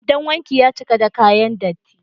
Kwandon wanki ya cika da kayan datti.